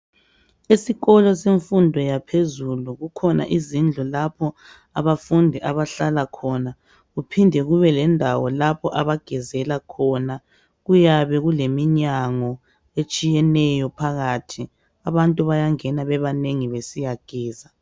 Esikolo semfundo yaphezulu kukhona izindlu lapho abafundi abahlala khona kuphinde kube lendawo lapho abagezela khona kuyabe kuleminyango etshiyeneyo phakathi abantu bayangena bebanengi besiyageza.